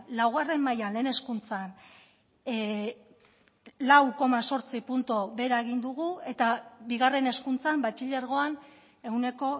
laugarren mailan lehen hezkuntzan lau koma zortzi puntu behera egin dugu eta bigarren hezkuntzan batxilergoan ehuneko